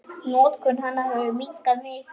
Notkun hennar hefur minnkað mikið.